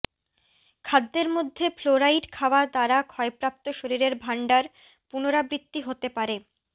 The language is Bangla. খাদ্যের মধ্যে ফ্লোরাইড খাওয়া দ্বারা ক্ষয়প্রাপ্ত শরীরের ভান্ডার পুনরাবৃত্তি হতে পারে